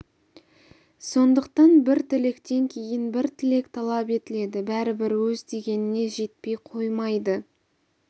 сондықтан бір тілектен кейін бір тілек талап етіледі бәрібір өз дегеніне жетпей қоймайды